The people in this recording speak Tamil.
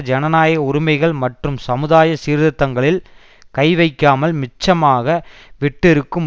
ஜனநாயக உரிமைகள் மற்றும் சமுதாய சீர்த்திருத்தங்களில் கைவைக்காமல் மிச்சமாக விட்டிருக்கும்